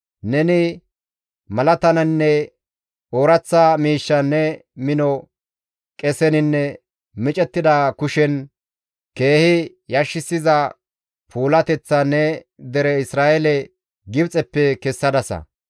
Neni malataninne ooraththa miishshan, ne mino qeseninne micettida kushen keehi yashissiza puulateththan ne dere Isra7eele Gibxeppe kessadasa.